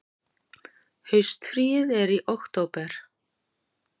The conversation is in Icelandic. Haustfríið er í október.